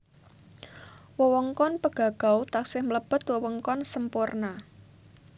Wewengkon Pegagau taksih mlebet wewengkon Semporna